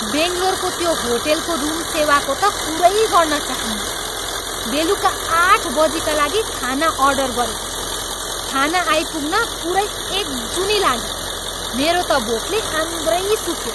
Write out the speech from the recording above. बङ्लोरको त्यो होटलको रुम सेवाको त कुरै गर्न चाहन्नँ। बेलुकी आठ बजीका लागि खाना अर्डर गरेको, खाना आइपुग्न पुरै एक जुनी लाग्यो। मेरो त भोकले आन्द्रै सुक्यो।